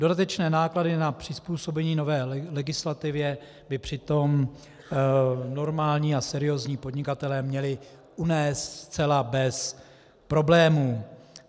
Dodatečné náklady na přizpůsobení nové legislativě by přitom normální a seriózní podnikatelé měli unést zcela bez problémů.